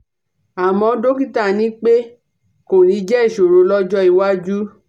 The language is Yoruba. àmọ́ dọ́kítà ní pé kò ní jẹ́ ìṣòro lọ́jọ́ iwájú